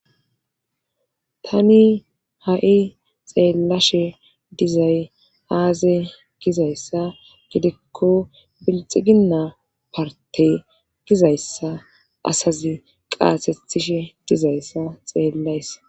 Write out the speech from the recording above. tani ha7i xeellashe dizay aaze gizayssa gidikko bilxiginna partey gizayssa asazi qaasetishe dizayssa xeellaysa